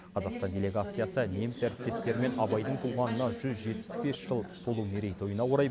қазақстан делегациясы неміс әріптестерімен абайдың туғанына жүз жетпіс бес жыл толу мерейтойына орай